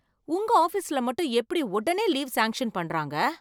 உங்க ஆபீஸ்ல மட்டும் எப்படி உடனே லீவ் சாங்க்ஷன் பண்றாங்க!